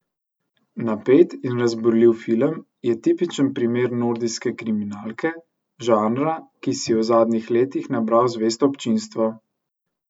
Napet in razburljiv film je tipičen primer nordijske kriminalke, žanra, ki si je v zadnjih letih nabral zvesto občinstvo.